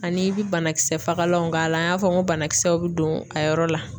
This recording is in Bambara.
Ani i bi banakisɛ fagalanw k'a la. An y'a fɔ n ko banakisɛw bɛ don a yɔrɔ la.